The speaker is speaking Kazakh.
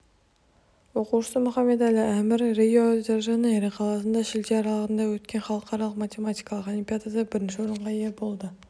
оқушысы мұхамед-әлі әмір рио-де-жанейро қаласында шілде аралығында өткен халықаралық математикалық олимпиадада бірінші орынға ие болды